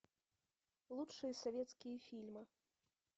лучшие советские фильмы